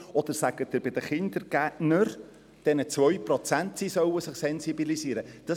Oder sagen Sie den Kindergärtnern, diesen 2 Prozent, dass sie sich sensibilisieren sollen?